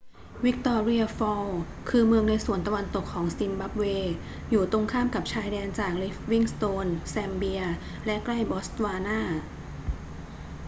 วิกตอเรีย ฟอลส์ คือเมืองในส่วนตะวันตกของซิมบับเว อยู่ตรงข้ามกับชายแดนจากลิฟวิงสโตน แซมเบีย และใกล้บอตสวานา